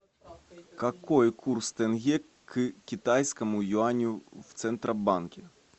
какой курс тенге к китайскому юаню в центробанке